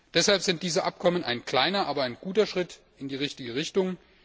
Deshalb sind diese Abkommen ein kleiner, aber ein guter Schritt in die richtige Richtung.